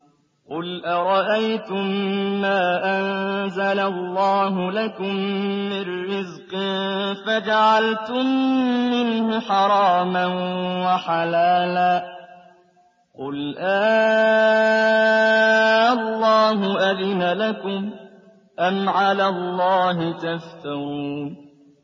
قُلْ أَرَأَيْتُم مَّا أَنزَلَ اللَّهُ لَكُم مِّن رِّزْقٍ فَجَعَلْتُم مِّنْهُ حَرَامًا وَحَلَالًا قُلْ آللَّهُ أَذِنَ لَكُمْ ۖ أَمْ عَلَى اللَّهِ تَفْتَرُونَ